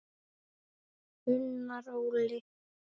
Unnar Óli.